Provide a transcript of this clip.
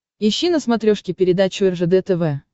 ищи на смотрешке передачу ржд тв